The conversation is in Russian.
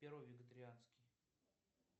первый вегетарианский